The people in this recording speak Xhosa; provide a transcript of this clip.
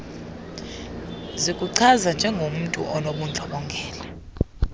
zikuchaza njengomntu onobundlobongela